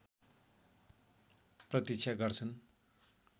प्रतीक्षा गर्छन्